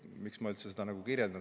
Miks ma üldse seda kirjeldan?